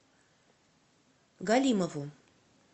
галимову